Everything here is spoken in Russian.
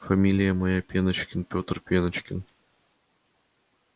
фамилия моя пеночкин пётр пеночкин